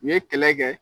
U ye kɛlɛ kɛ